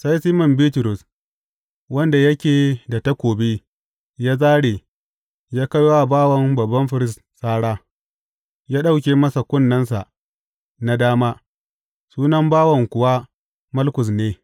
Sai Siman Bitrus, wanda yake da takobi, ya zāre, ya kai wa bawan babban firist sara, ya ɗauke masa kunnensa na dama Sunan bawan kuwa Malkus ne.